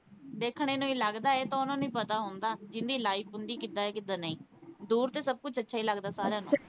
ਦੇਖਣੇ ਨੂੰ ਈ ਲਗਦਾ ਏ ਇਹ ਤਾਂ ਓਹਨਾ ਨੂੰ ਈ ਪਤਾ ਹੁੰਦਾ ਜਿਹਦੀ life ਹੁੰਦੀ ਕਿੱਦਾਂ ਦੀ ਕਿੱਦਾਂ ਨਹੀਂ ਦੂਰ ਤੇ ਸਬ ਕੁਛ ਅੱਛਾ ਈ ਲਗਦਾ ਸਾਰਿਆਂ ਨੂੰ।